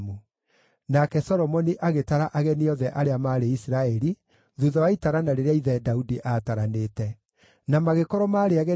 Nake Solomoni agĩtara ageni othe arĩa maarĩ Isiraeli, thuutha wa itarana rĩrĩa ithe Daudi aataranĩte; na magĩkorwo maarĩ ageni 153,600.